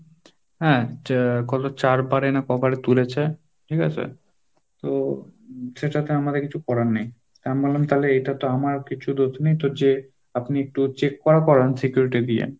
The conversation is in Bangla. হ্যাঁ, তো গত চারবার না ক~বারে তুলেছে, ঠিক আছে? তো সেটাতে আমাদের কিছু করার নেই, আমি বললাম তাহলে এটা তো আমার কিছু দোষ নেই, তো যে check করান security দিয়ে।